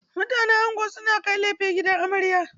Mutanen ango sun kai kayan laife gidan amarya.